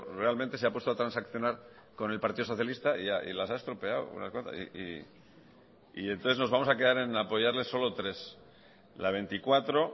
realmente se ha puesto a transaccionar con el partido socialista y las ha estropeado entonces nos vamos a quedar en apoyarle solo tres la veinticuatro